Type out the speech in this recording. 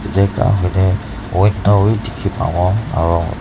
hoi ne window bi dikhi pabo aro--